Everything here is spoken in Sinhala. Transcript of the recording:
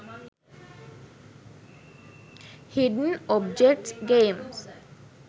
hidden objects games